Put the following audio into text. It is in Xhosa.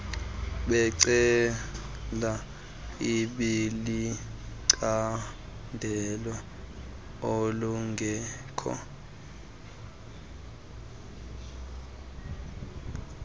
becala ibilicandelo ekungekho